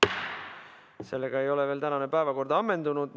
Sellega ei ole veel tänane päevakord ammendunud.